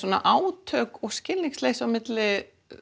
átök og skilningsleysi milli